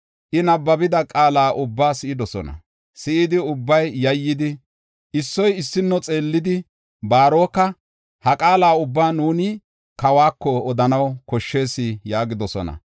I nabbabida qaala ubbaa si7idi yayyidosona, issoy issuwa xeellidi, Baaroka, “Ha qaala ubbaa nuuni kawas odanaw koshshees” yaagidosona.